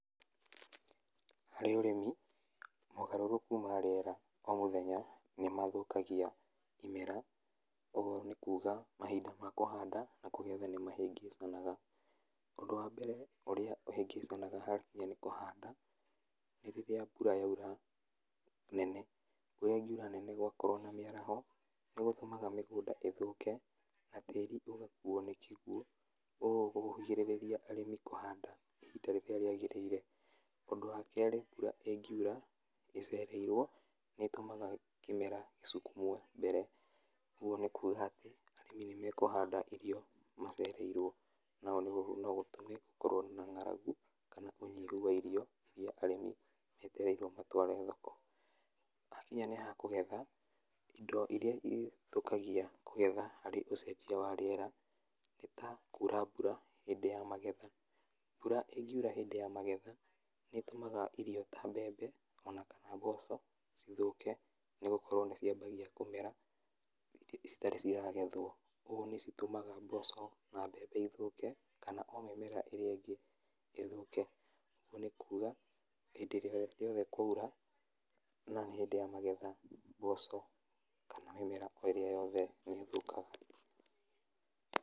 Harĩ ũrĩmi, mogarũrũku ma rĩera o mũthenya, nĩmathũkagia imera, oho nĩkuga mahinda makũgetha na kũhanda nĩmahĩngĩcananga, ũndũ wa mbere ũrĩa ũhĩngĩcanaga hakinya nĩ kũhanda, nĩ rĩrĩa mbura yaura nene, mbura ĩngiura nene gwakorwo na mĩaraho, nĩgũtũmaga mĩgũnda ĩthũke na tĩri ũgakuo nĩ kĩguo ũguo kũgirĩrĩria arĩmi kũhanda ihinda rĩrĩa rĩagĩrĩire, ũndũ wa kerĩ mbura ĩngiura ĩcereirwo nĩtũmaga kĩmera gĩcukumwo mbere, ũguo nĩkuga atĩ, arĩmi nĩmekũhanda irio macereirwo, naũ nogũtũme gũkorwo na ng'aragu, kana ũnyihu wa irio iria arimi metereirwo matware thoko, hakinya ník'getha, indo iria irĩthũkagia kũgetha harĩ ũcenjia wa rĩera, nĩta, kura mbura hĩndĩ ya magetha, mbura íngiura hĩndĩ ya magetha, nĩtũmaga irio ta mbembe, ona kana mboco cithũke nĩgũkorwo nĩciambagia kũmera irĩ citarí ciagethwo, ũguo nĩcitũmaga mbembe na mboco ithũke kana o mĩmera ĩrĩa ĩngĩ ĩthũke, ũguo nĩkuga, hĩndĩ ĩrĩa rĩothe kwaura, no hĩndi ya magetha mboco kana mĩmera o ĩrĩa yothe nĩthũkaga.